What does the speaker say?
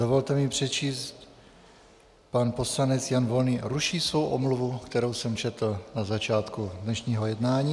Dovolte mi přečíst, pan poslanec Jan Volný ruší svou omluvu, kterou jsem četl na začátku dnešního jednání.